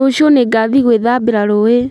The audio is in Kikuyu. Rũciũ nĩngathiĩ gwĩthambira rũĩ